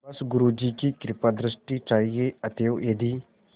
बस गुरु जी की कृपादृष्टि चाहिए अतएव यदि